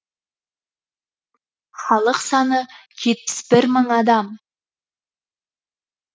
халық саны жетпіс бір мың адам